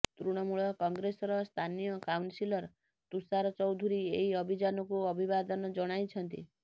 ତୃଣମୂଳ କଂଗ୍ରେସର ସ୍ଥାନୀୟ କାଉନ୍ସିଲର୍ ତୁଷାର ଚୌଧୁରୀ ଏହି ଅଭିଯାନକୁ ଅଭିବାଦନ ଜଣାଇଛନ୍ତି